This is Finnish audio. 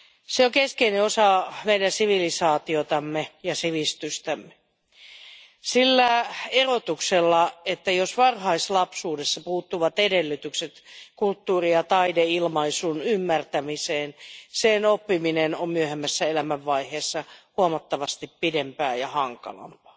Se on keskeinen osa meidän sivilisaatiotamme ja sivistystämme sillä erotuksella, että jos varhaislapsuudesta puuttuvat edellytykset kulttuuri ja taideilmaisun ymmärtämiseen, sen oppiminen myöhemmässä elämänvaiheessa kestää huomattavasti pidempään ja on hankalampaa.